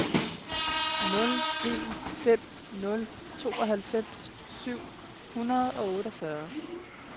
nul en fem nul tooghalvfems syv hundrede og otteogfyrre